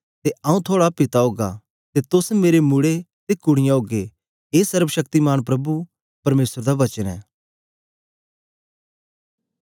ते आंऊँ थुआड़ा पिता ओगा ते तोस मेरे मुड़े ते कुड़ीयाँ ओगे ए सर्वशक्तिमान प्रभु परमेसर दा वचन ऐ